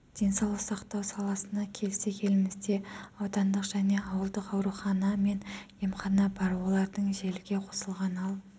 денсаулық сақтау саласына келсек елімізде аудандық және ауылдық аурухана мен емхана бар олардың желіге қосылған ал